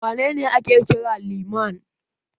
Wane ne ake kira Liman?